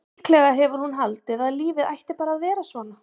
Líklega hefur hún haldið að lífið ætti bara að vera svona.